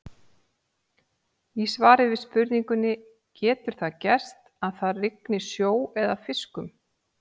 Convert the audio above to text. Í svari við spurningunni Getur það gerst að það rigni sjó eða fiskum?